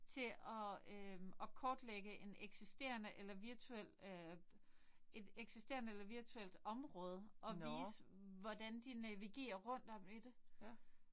Til at øh og kortlægge en eksisterende eller virtuel øh et eller eksisterende eller virtuelt område og vise hvordan de navigerer rundt om i det